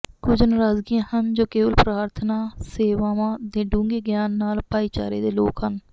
ਕੁਝ ਨਰਾਜ਼ੀਆਂ ਹਨ ਜੋ ਕੇਵਲ ਪ੍ਰਾਰਥਨਾ ਸੇਵਾਵਾਂ ਦੇ ਡੂੰਘੇ ਗਿਆਨ ਨਾਲ ਭਾਈਚਾਰੇ ਦੇ ਲੋਕ ਹਨ